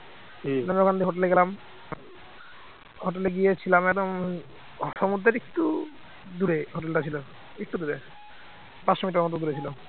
হোটেলে গিয়ে ছিলাম একদম সমুদ্রের একটু দূরে হোটেল টা ছিল একটু দূরে পাঁচশো মিটার মতো দূরে ছিল